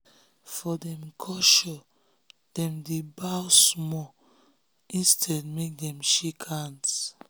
for dem culturedem dey bow small instead make dem shake hands